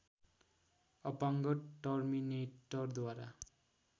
अपाङ्ग टर्मिनेटरद्वारा